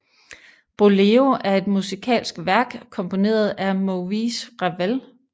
Boléro er et musikalsk værk komponeret af Maurice Ravel